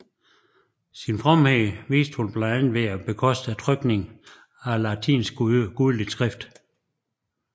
Sin fromhed viste hun blandt andet ved at bekoste trykningen af et latinsk gudeligt skrift